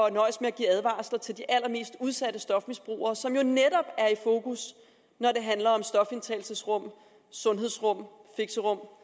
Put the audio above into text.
at nøjes med at give advarsler til de allermest udsatte stofmisbrugere som jo netop er i fokus når det handler om stofindtagelsesrum sundhedsrum fixerum